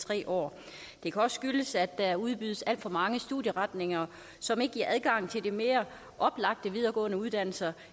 tre år det kan også skyldes at der udbydes alt for mange studieretninger som ikke giver adgang til de mere oplagte videregående uddannelser